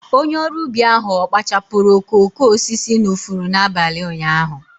Onye ọrụ ubi ahụ ọ̀ kpachapụrụ okooko osisi n'ifuru n'abalị ụnyaahụ?